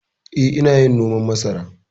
Eh, ina yin noman masara.